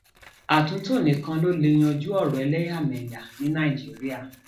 àtúntò nìkan ló lè um yanjú ọrọ ẹlẹyàmẹyà ní nàìjíríà